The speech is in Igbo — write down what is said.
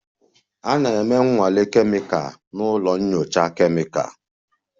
A na-eme nnwale kemịkal na ụlọ nyocha kemịkalụ